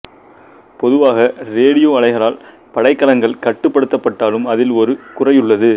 பொதுவாக ரேடியோ அலைகளால் படைக்கலங்கள் கட்டுப் படுத்தப்பட்டாலும் அதில் ஒரு குறையுள்ளது